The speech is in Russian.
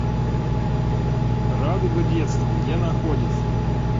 радуга детства где находится